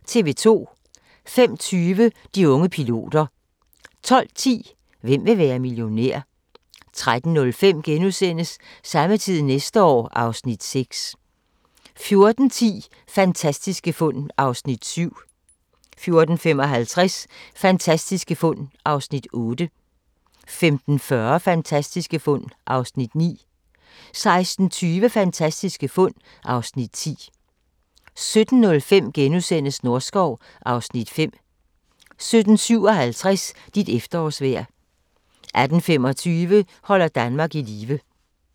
05:20: De unge piloter 12:10: Hvem vil være millionær? 13:05: Samme tid næste år (Afs. 6)* 14:10: Fantastiske fund (Afs. 7) 14:55: Fantastiske fund (Afs. 8) 15:40: Fantastiske fund (Afs. 9) 16:20: Fantastiske fund (Afs. 10) 17:05: Norskov (Afs. 5)* 17:57: Dit efterårsvejr 18:25: Holder Danmark i live